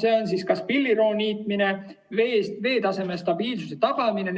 Selleks on kas pilliroo niitmine, veetaseme stabiilsuse tagamine ,